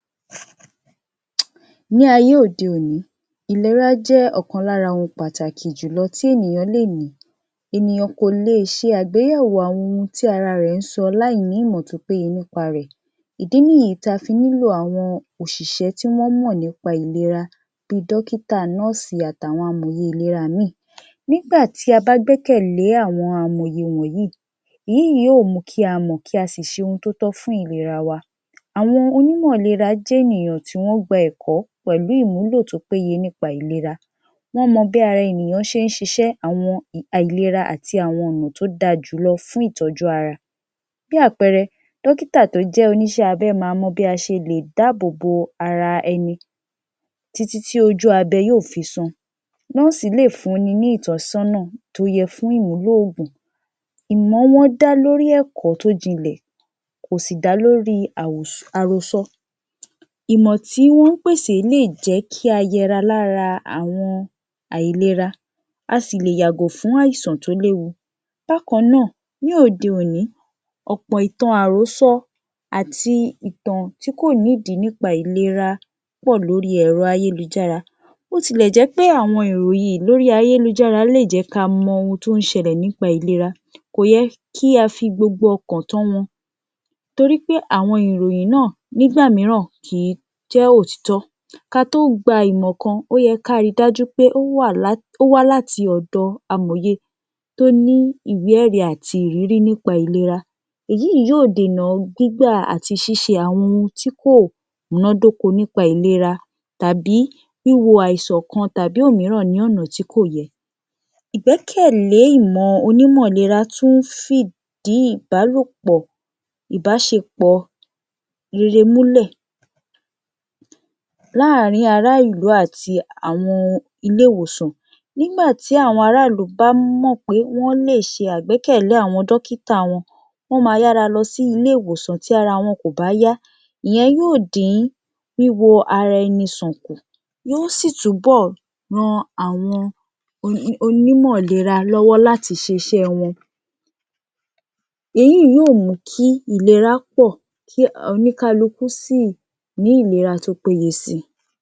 Ní ayé òde-òní, ìlera jẹ́ ọ̀kan lára àwọn ohun pàtàkì jùló tí ènìyàn lè ní, ènìyàn kò lè ṣe àgbéyẹ̀wò àwọn ohun tí ara rẹ̀ ń sọ láìní ìmọ̀ tó péye nípa re. Ìdí nìyí tí a fi nílò àwọn òṣìṣẹ́ tí wọ́n mọ̀ nípa ìlera, bí i dókítà, nọ́ọ̀sì àtàwọn amòye ìlera míì. Nígbà tí a bá gbẹ́kẹ̀lẹ́ àwọn amòye wọ̀nyí, èyí yìí yóò mú kí a mọ̀, kí a sì ṣe ohun tí ó tọ́ fún ìlera wa. Àwọn onímọ̀ ìlera jẹ́ ènìyàn tí wọ́n gba ẹ̀kọ́ pẹ̀lú ìmúlò tó péye nípa ìlera. Wọ́n mọ bí ara ènìyàn ṣe ń ṣiṣẹ́, àwọn um àìlera àti àwọn ọ̀nà tó dáa jùlọ fún ìtọ́jú ara. Bí àpẹẹrẹ, dókítà tó jẹ́ onìṣẹ́ abẹ máa mó bí a ṣelè dáàbò bo ara ẹni títí tí ojú abẹ yóò fi san, nọ́ọ̀sì lè fún ni ní ìtọ́sọ́nà tó yẹ fún ìmúlò oògùn, ìmọ̀ wọn dá lórí ẹ̀kọ́ tó jinlẹ̀, kò sì dá lórí àrò, àròsọ. Ìmọ̀ tí wọ́n ń pèsè lè jé kí a yẹra lára àwọn àìlera, a sì lè yàgò fún àìsàn tó léwu. Bákan náà ní òde-òní, ọ̀pọ̀ ìtàn àròsọ àti ìtàn tí kò nídìí nípa ìlera pọ̀ lórí ẹ̀rọ ayélujára, bó tilẹ̀ jẹ́ pé àwọn ìròyìn lórí ayélujára lè jẹ́ ká mọ ohun tó ń ṣẹlẹ̀ nípa ìlera, kò yẹ kí á fi gbogbo ọkàn tán wọn, torí pé àwọn ìròyìn náà nígbà mìíràn kì í jẹ́ òtítọ́. Ká tó gba ìmọ̀ kan, ó yẹ ká ri dájú pé ó wà lá, ó wá láti ọ̀dọ̀ amòye tó ní ìwẹ ẹ̀rí àti ìrírí nípa ìlera. Èyí yìí yóò dẹ̀nà gbígbà àti ṣíṣe àwọn ohun tí kò múnádóko nípa ìlera, tàbí wíwo àìsàn kan tàbí òmíràn ní ọ̀nà tí kò yẹ. Ìgbẹ́kẹ̀lẹ́ ìmọ̀ onímọ̀ ìlera tún fìdí ìbálòpọ̀, ìbáṣepọ̀ rere múlẹ̀ láàrin ara ìlú àti àwọn ilé ìwòsàn. Nígbà tí àwọn ará ìlú bá mọ̀ pé wọ́n lè ṣe àgbẹ́kẹ̀lẹ́ àwọn dọ́kítà wọn, wọ́n máa yára lọ sí ilé ìwòsàn tí ara wọn kò bá yá. Ìyẹn yóò dín wíwo ara ẹni sàn kù, yóò sì túbò ran àwọn onímọ̀ ìlera lọ́wọ́ láti ṣe iṣẹ́ wọn, èyí yóò mú kí ìlera pọ̀, kí oníkálukú sì ní ìlera tó péye si